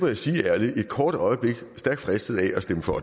jeg sige ærligt et kort øjeblik stærkt fristet til at stemme for